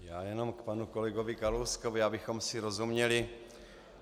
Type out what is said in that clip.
Já jenom k panu kolegovi Kalouskovi, abychom si rozuměli.